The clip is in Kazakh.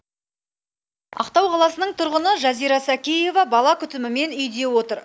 ақтау қаласының тұрғыны жазира сәкеева бала күтімімен үйде отыр